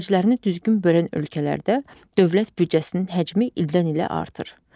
Xərclərini düzgün bölən ölkələrdə dövlət büdcəsinin həcmi ildən-ilə artır.